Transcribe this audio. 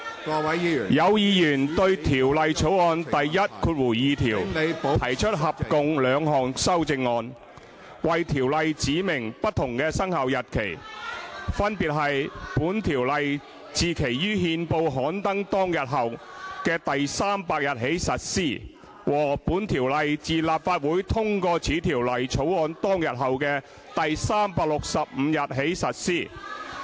有議員對《廣深港高鐵條例草案》第12條提出合共兩項修正案，為條例指明不同的生效日期，分別為"本條例自其於憲報刊登當日後的第300日起實施"和"本條例自立法會通過此條例草案當日後的第365日起實施"。